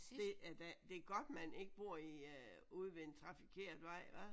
Det er da det er godt man ikke bor i øh ude ved en trafikeret vej hva